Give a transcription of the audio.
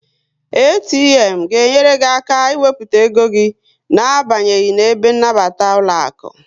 ATM ga enyere gị aka ị wepụta ego gị na abanyeghi n'ebe nnabata ụlọaku